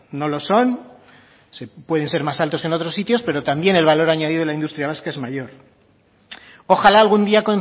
no lo son pueden ser más altos que en otros sitios pero también el valor añadido en la industria vasca es mayor ojalá algún día